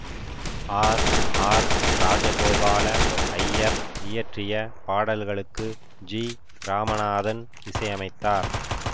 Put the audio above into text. R R Rajagopala Iyer இயற்றிய பாடல்களுக்கு G Ramanathan இசையமைத்தார்